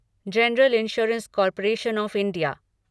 general insurance corporation of India